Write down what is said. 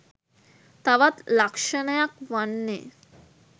තවත් ලක්ෂණයක් වන්නේ